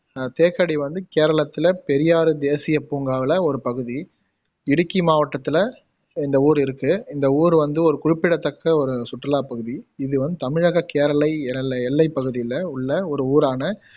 அஹ் தேக்கடி வந்து கேரளத்துல பெரியார் தேசிய பூங்கால ஒரு பகுதி இடுக்கி மாவட்டத்துல இந்த ஊர் இருக்கு இந்த ஊர் வந்து ஒரு குறிப்பிடத்தக்க ஒரு சுற்றுலா பகுதி இது வந்து தமிழக கேரளை எல் எல்லைப்பகுதில உள்ள ஒரு ஊரான